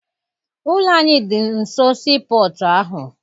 Ụlọ anyị dị nso sii pọtụ ahụ.